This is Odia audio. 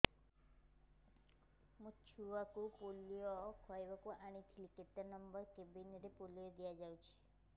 ମୋର ଛୁଆକୁ ପୋଲିଓ ଖୁଆଇବାକୁ ଆଣିଥିଲି କେତେ ନମ୍ବର କେବିନ ରେ ପୋଲିଓ ଦିଆଯାଉଛି